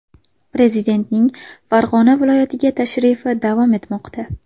Prezidentning Farg‘ona viloyatiga tashrifi davom etmoqda.